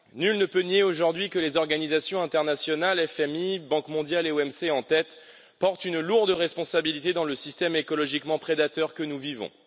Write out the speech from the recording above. Nul ne peut nier aujourd'hui que les organisations internationales, FMI, Banque mondiale et OMC en tête, portent une lourde responsabilité dans le système écologiquement prédateur que nous vivons.